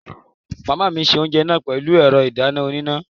Màmá mi se oúnjẹ náà pẹ̀lú ẹ̀rọ ìdáná oníná